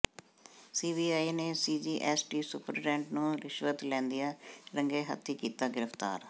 CBI ਨੇ CGST superintendent ਨੂੰ ਰਿਸ਼ਵਤ ਲੈਂਦਿਆਂ ਰੰਗੇ ਹੱਥੀਂ ਕੀਤਾ ਗ੍ਰਿਫ਼ਤਾਰ